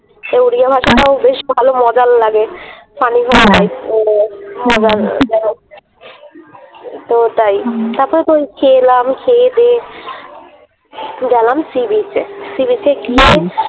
ওড়িয়া ভাষাটাও বেশ ভালো মজার লাগে তো তাই তারপরে তো খেয়ে এলাম খেয়ে দেয়ে গেলাম Sea-beach এ ।